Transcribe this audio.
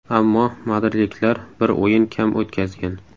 Ammo madridliklar bir o‘yin kam o‘tkazgan.